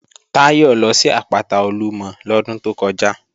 Táyọ̀ lọ sí àpáta Olúmọ lọ́dún tó kọjá